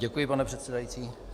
Děkuji, pane předsedající.